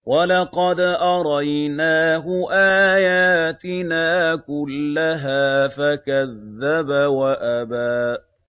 وَلَقَدْ أَرَيْنَاهُ آيَاتِنَا كُلَّهَا فَكَذَّبَ وَأَبَىٰ